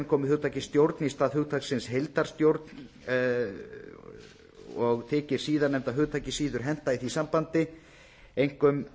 komi hugtakið stjórn í stað hugtaksins heildarstjórn og þykir síðarnefnda hugtakið þykir síður henta í því sambandi einkum